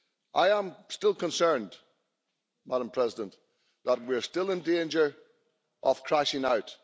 I am still concerned, Madam President, that we are still in danger of crashing out.